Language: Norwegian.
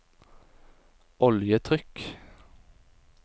oljetrykk